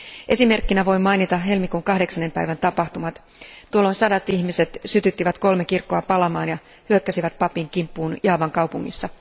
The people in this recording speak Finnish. Esimerkkinä voin mainita helmikuun kahdeksannen päivän tapahtumat tuolloin sadat ihmiset sytyttivät kolme kirkkoa palamaan ja hyökkäsivät papin kimppuun Javan kaupungissa.